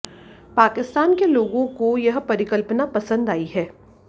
पाकिस्तान के लोगों को यह परिकल्पना पसंद आयी है